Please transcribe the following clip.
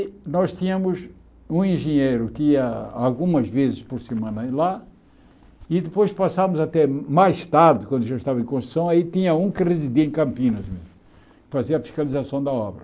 E nós tínhamos um engenheiro que ia algumas vezes por semana ir lá e depois passávamos até mais tarde, quando já estava em construção, aí tinha um que residia em Campinas mesmo, fazia a fiscalização da obra.